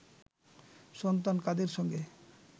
সন্তান কাদের সঙ্গে